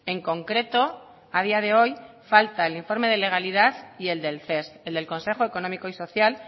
en concreto a día de hoy falta el informe de legalidad y el del ces el del consejo económico y social